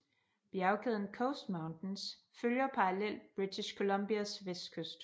Bjergkæden Coast Mountains følger parallelt British Columbias vestkyst